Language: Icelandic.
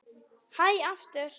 Hlæ aftur.